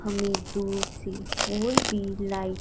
हमें दूर से और भी लाइट --